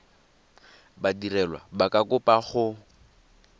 badirelwa ba ka kopa go